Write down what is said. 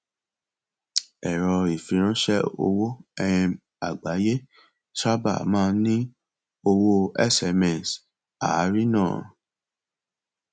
ẹrọ ìfiránṣé owó um àgbáyé sábà máa ń ní owó sms àárínà